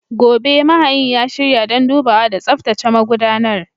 Gobe, mahayin ya shirya don dubawa da tsaftace magudanar.